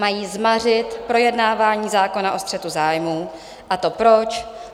Mají zmařit projednávání zákona o střetu zájmů, a to proč?